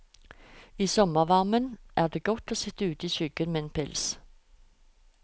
I sommervarmen er det godt å sitt ute i skyggen med en pils.